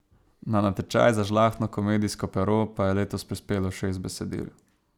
Na natečaj za žlahtno komedijsko pero pa je letos prispelo šest besedil.